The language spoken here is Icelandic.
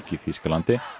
í Þýskalandi